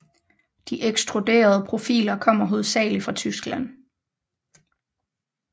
De ekstruderede profiler kommer hovedsagelig fra Tyskland